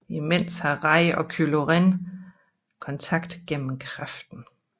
Imens har Rey og Kylo Ren kontakt gennem kraften